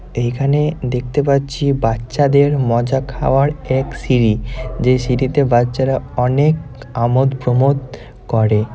এই খানে দেখতে পাচ্ছি বাচ্চাদের মজা খাওয়ার এক সিঁড়ি যে সিঁড়িতে বাচ্চারা অনেক আমোদ প্রমোদ করে ।